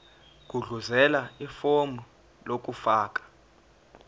gudluzela ifomu lokufaka